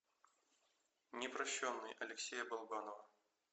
непрошенный алексея балабанова